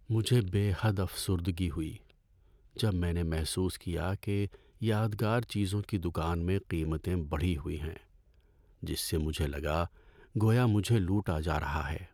مجھے بے حد افسردگی ہوئی جب میں نے محسوس کیا کہ یادگار چیزوں کی دکان میں قیمتیں بڑھی ہوئی ہیں، جس سے مجھے لگا گویا مجھے لوٗٹا جا رہا ہے۔